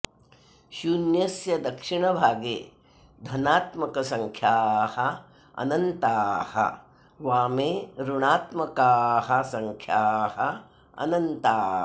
शून्यस्य दक्षिणभागे धनात्मकसङ्ख्याः अनन्ताः वामे ऋणात्मकाः सङ्ख्याः अनन्ताः